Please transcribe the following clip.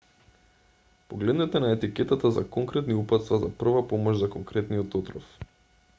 погледнете на етикетата за конкретни упатства за прва помош за конкретниот отров